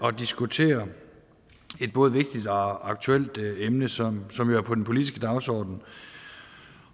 at diskutere et både vigtigt og aktuelt emne som som er på den politiske dagsorden